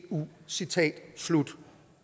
eu citat slut